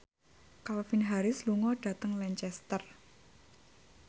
Calvin Harris lunga dhateng Lancaster